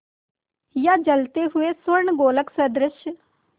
या जलते हुए स्वर्णगोलक सदृश